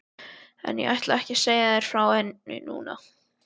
En ég ætla ekki að segja þér frá henni núna.